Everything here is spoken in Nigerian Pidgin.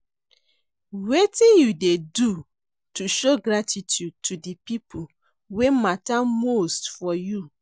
Wetin you dey do to show gratitude to di people wey mata most for you?